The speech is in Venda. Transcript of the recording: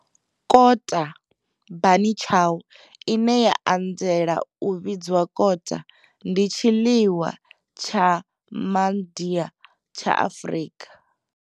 Kota, bunny chow, ine ya anzela u vhidzwa kota, ndi tshiḽiwa tsha Mandia tsha Afrika.